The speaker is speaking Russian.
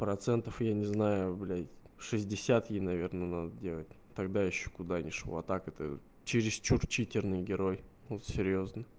процентов я не знаю блядь шестьдесят ей наверное надо делать тогда ещё куда ни шло а так это чересчур читерный герой вот серьёзно